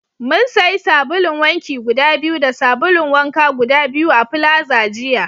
Mun sayi sabulun wanki guda biyu da sabulun wanka guda biyu a plaza jiya